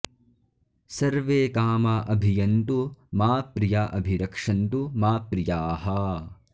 सर्वे॒ कामा॑ अ॒भिय॑न्तु मा प्रि॒या अ॒भिर॑क्षन्तु मा प्रि॒याः